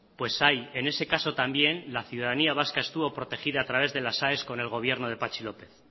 pues ahí en ese caso también la ciudadanía vasca estuvo protegida a través de las aes con el gobierno de patxi lópez